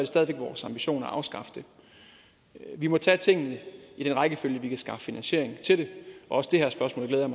stadig væk vores ambition at afskaffe det vi må tage tingene i den rækkefølge vi kan skaffe finansiering til det også det her spørgsmål glæder